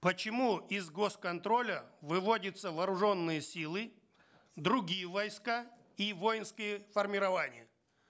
почему из гос контроля выводятся вооруженные силы другие войска и воинские формирования